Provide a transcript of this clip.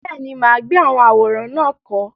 Bẹ́ẹ̀ni, mà á gbé àwọn àwòrán náà kọ́.